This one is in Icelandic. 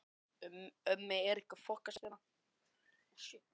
En auðvitað sagði hann engum frá því.